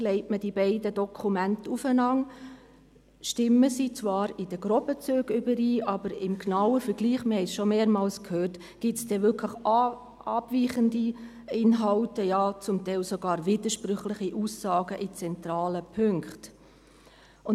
Legt man die beiden Dokumente aufeinander, stimmen sie zwar in groben Zügen überein, aber im genauen Vergleich – wir haben es schon mehrmals gehört – gibt es dann wirklich abweichende Inhalte, ja teilweise sogar widersprüchliche Aussagen in zentralen Punkten.